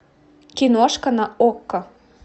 киношка на окко